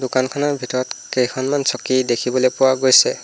দোকানখনৰ ভিতৰত কেইখনমান চকী দেখিবলৈ পোৱা গৈছে।